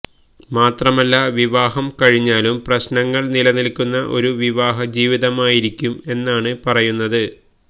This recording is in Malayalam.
മാത്രമല്ല വിവാഹം കഴിഞ്ഞാലും പ്രശ്നങ്ങൾ നിലനിൽക്കുന്ന ഒരു വിവാഹ ജീവിതമായിരിക്കും എന്നാണ് പറയുന്നത്